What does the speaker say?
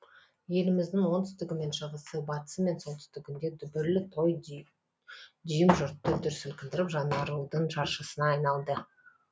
еліміздің оңтүстігі мен шығысы батысы мен солтүстігінде дүбірлі той дүйім жұртты дүр сілкіндіріп жаңарудың жаршысына айналды